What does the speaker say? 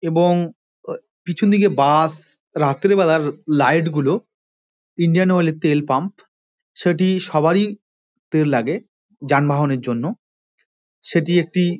এবং এ-পিছন দিকে বাস রাত্রি বেলার লাইট -গুলো ইন্ডিয়ান অয়েল - এর তাল পাম্প সেটি সবারই তেল লাগে যানবাহনের জন্য। সেটি একটি--